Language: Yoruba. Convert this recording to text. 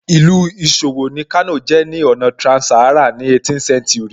Ìlú ìṣòwò ni Kano jẹ́ ní ọ̀nà trans-Saharan ní 18th century